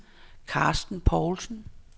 Carsten Paulsen